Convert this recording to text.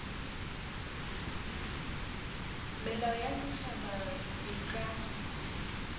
melao ya setšhaba e ka